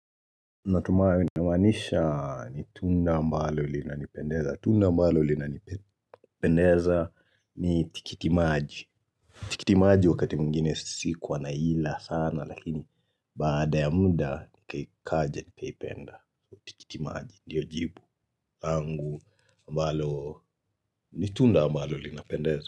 Natumai namaanisha ni tunda ambalo linanipendeza. Tunda ambalo linanipendeza ni tikitimaji. Tikitimaji wakati mwigine sikuwa naila sana lakini baada ya muda ni kaja nikaipenda. Tikitimaji ndiyo jibu. Angu ambalo ni tunda ambalo linapendeza.